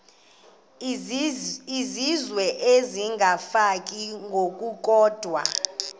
izizwe isengabafazi ngokukodwa